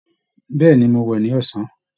Bẹ̀ẹ́ni, Mo wẹ ní ọ̀san.